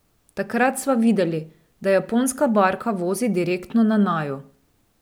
Takrat sva videli, da japonska barka vozi direktno na naju.